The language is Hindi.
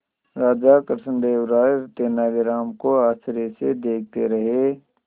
राजा कृष्णदेव राय तेनालीराम को आश्चर्य से देखते रहे